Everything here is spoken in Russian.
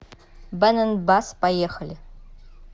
бэн энд басс поехали